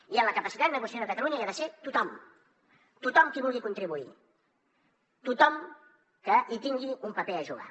i en la capacitat negociadora de catalunya hi ha de ser tothom tothom qui hi vulgui contribuir tothom que hi tingui un paper a jugar